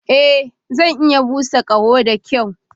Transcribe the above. Ee, Zan iya busa ƙaho da kyau.